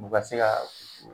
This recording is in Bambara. U ka se ka